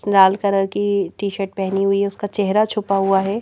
लाल colour की T shirt पहनी हुई है उसका चेहरा छुपा हुआ है।